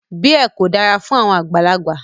Beer ko dara fun awọn agbalagba